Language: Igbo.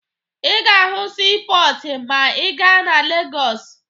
Ị ga-ahụ siipọọtụ ma ị gaa na Legọọsụ